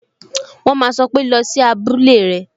"wọn ma sọ pé" Lọ sí abúlé rẹ!